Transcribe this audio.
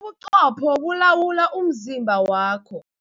Ubuqopho bulawula umzimba wakho.